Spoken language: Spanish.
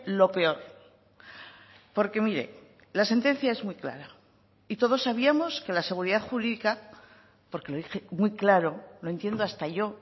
lo peor porque mire la sentencia es muy clara y todos sabíamos que la seguridad jurídica porque lo dije muy claro lo entiendo hasta yo